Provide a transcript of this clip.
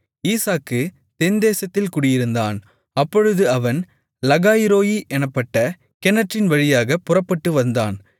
ஈசாக்கு தென்தேசத்தில் குடியிருந்தான் அப்பொழுது அவன் லகாய்ரோயீ எனப்பட்ட கிணற்றின் வழியாகப் புறப்பட்டு வந்தான்